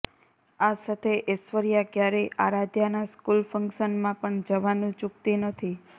આ સાથે એશ્વર્યા ક્યારેય આરાધ્યાના સ્કૂલ ફંક્શનમાં પણ જવાનું ચૂકતી નથી